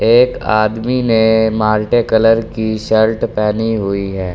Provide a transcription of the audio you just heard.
एक आदमी ने माल्टे कलर की शॉर्ट पहनी हुई है।